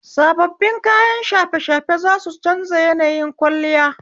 Sababbin kayan shafe shafe za su canza yanayin kwalliya.